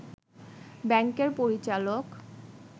ব্যাংকের পরিচালক